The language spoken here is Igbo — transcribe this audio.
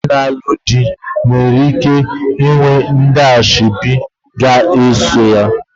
Nke nwaanyị na-alụ di nwekwara ike ịnwe ndị ashebi ga-eso ya.